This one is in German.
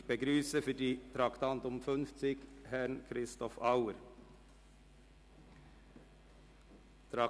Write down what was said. Ich begrüsse für das Traktandum 50 Herrn Christoph Auer.